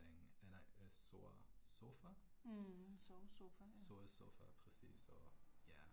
Mh en sovesofa ja